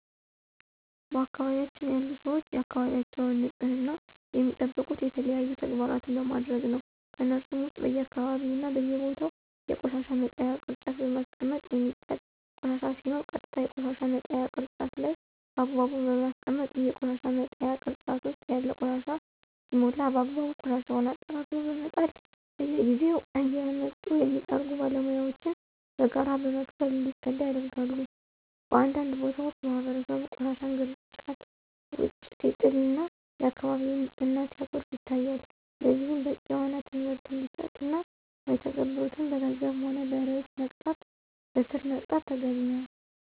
በአካባቢያችን ያሉ ሰወች የአካባቢያቸውን ንፅህና የሚጠብቁት የተለያዩ ተግባራን በማድረግ ነው። ከነሱሞ ውስጥ በየአካባቢው እና በየቦታው የቆሻሻ መጣያ ቅርጫት በማስቀመጥ የሚጣል ቆሻሻ ሲኖር ቀጥታ የቆሻሻ መጣያው ቅርጫት ላይ በአግባቡ በማስቀመጥ፣ ይሄ የቆሻሻ መጣያ ቅርጫት ውስጥ ያለው ቆሻሻ ሲሞላ በአግባቡ ቆሻሻውን አጠራቅሞ በመጣል፣ በየጊዜው እየመጡ የሚጠርጉ ባለሙያወችን በጋራ በመክፈል እንዲፀዳ ያደርጋሉ። በአንዳንድ ቦታዎች ማህበረሰቡ ቆሻሻን ግርጫት ውጭ ሲጥል እና የአከባቢውን ንፅህና ሲያጎድፍ ይታያል። ለዚህም በቂ የሆነ ትምህርት እንዲሰጥ እና ማይተገብሩትን በገንዘብም ሆነ በእስር መቅጣት ተገቢ ነው።